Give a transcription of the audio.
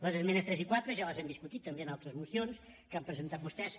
les esmenes tres i quatre ja les hem discutides també en altres mocions que han presentat vostès